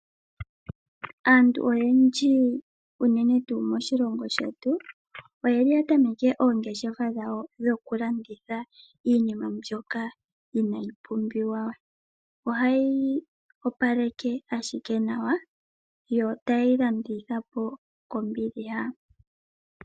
Aantu oyendji unene tuu moshilongo shetu, oye li ya tameke oongeshefa dhawo, dhoku landitha iinima mbyoka inaa yi pumbiwa we, ohaa yi opaleke ashike nawa, yo taye yi landitha po kombiliha.